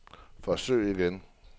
forsøg igen